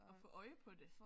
Og få øje på det